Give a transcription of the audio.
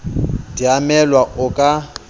di a emelwa o ka